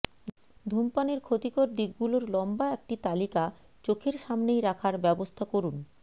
ধূমপানের ক্ষতিকর দিকগুলোর লম্বা একটি তালিকা চোখের সামনেই রাখার ব্যবস্থা করুন